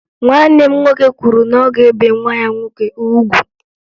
Nwanne m nwoke kwuru na ọ ga-ebe nwa ya nwoke ugwu